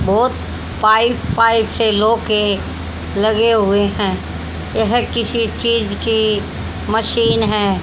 बहोत पाई पाई से लोके लगे हुए हैं। यह किसी चीज की मशीन है।